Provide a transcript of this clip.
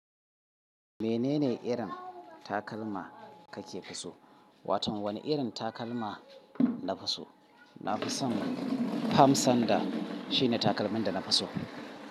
Menene irin takalma kake so? Waton wani irin takalma nafi so? Na fi son fam sandal shine takalmin da na fi so.